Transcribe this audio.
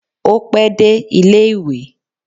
Ó pẹ́ dé ilé ìwé